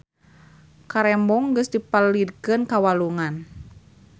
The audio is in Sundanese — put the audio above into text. Karembong geus dipalidkeun ka walungan